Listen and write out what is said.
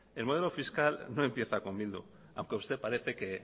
el modelo fiscal no empieza con bildu aunque a usted parece que